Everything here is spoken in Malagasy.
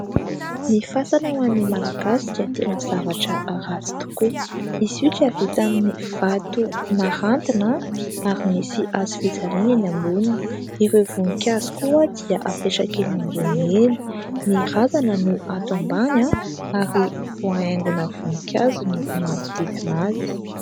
Ny fasana ho an'ny Malagasy dia tena zavatra ratsy tokoa, izy io dia vita amin'ny vato narantina ary misy hazo fijaliana eny amboniny, ireo voninkazo koa dia apetraka eny ambony eny, ny razana no ato ambany ary voahaingona voninkazo ny manodidina azy.